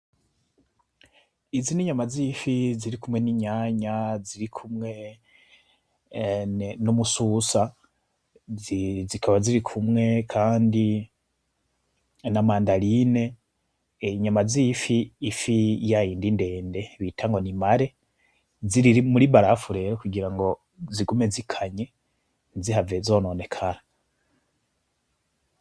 Izi n'inyama z'ifi ziri kumwe n'itomati; ziri kumwe n'umususa, zikaba ziri kumwe kandi na mandarena, inyama z'ifi, ifi ya yindi ndende bita ngo ni mare, ziri muri barafu rero kugira ngo zigume zikanye ntizihave zononekara.